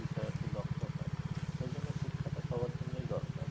বিষয়ে আরকি দক্ষ হয় সেইজন্য শিক্ষাটা সবার জন্যই দরকার